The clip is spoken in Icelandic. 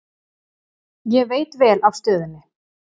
Ég veit vel af stöðunni.